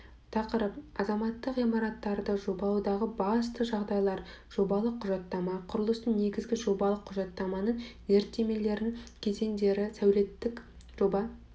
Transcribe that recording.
тақырып азаматтық ғимараттарды жобалаудағы басты жағдайлар жобалық құжаттама құрылыстың негізі жобалық құжаттаманың зерттемелерінің кезеңдері сәулеттік жоба